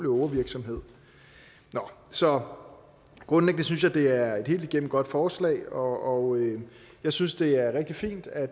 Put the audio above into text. ågervirksomhed så grundlæggende synes jeg det er et helt igennem godt forslag og jeg synes det er rigtig fint at